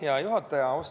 Hea juhataja!